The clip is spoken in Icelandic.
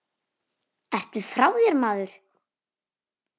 Ertu frá þér maður?